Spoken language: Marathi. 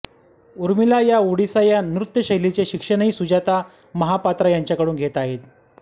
ऊर्मिला या ओडिसी या नृत्यशैलीचे शिक्षणही सुजाता महापात्रा यांच्याकडून घेत आहेत